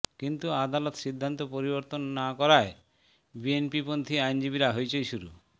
কিন্তু আদালত সিদ্ধান্ত পরিবর্তন না করায় বিএনপিপন্থি আইনজীবীরা হইচই শুরু